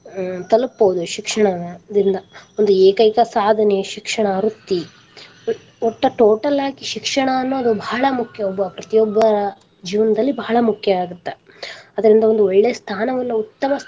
ತಲಪಬಹುದು ಶಿಕ್ಷಣದಿಂದ ಒಂದು ಏಕೈಕ ಸಾಧನೆ ಶಿಕ್ಷಣ ವೃತ್ತಿ ವಟ್ಟ total ಆಗಿ ಶಿಕ್ಷಣ ಅನ್ನೋದು ಬಾಳ ಮುಖ್ಯ ಒಬ್ಬ ಪ್ರತಿಯೊಬ್ಬ ಜೀವನದಲ್ಲಿ ಬಾಳ ಮುಖ್ಯ ಆಗತ್ತ ಅದರಿಂದ ಒಂದು ಒಳ್ಳೆ ಸ್ಥಾನ ಉತ್ತಮ ಸ್ಥಾನವನ್ನ.